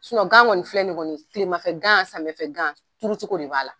gan kɔni filɛ nin kɔni kilemafɛ gan samiyɛfɛ gan turucogo de b'a la.